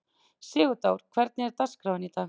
Sigurdór, hvernig er dagskráin í dag?